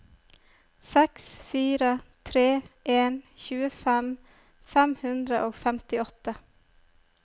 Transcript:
seks fire tre en tjuefem fem hundre og femtiåtte